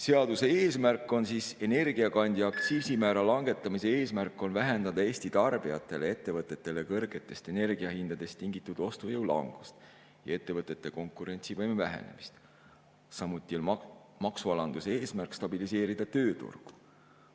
Seaduse eesmärk, energiakandja aktsiisimäära langetamise eesmärk on vähendada kõrgetest energiahindadest tingitud Eesti tarbijate ostujõu langust ja ettevõtete konkurentsivõime vähenemist, samuti on maksualandamise eesmärk stabiliseerida tööturgu.